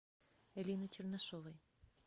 элины чернышовой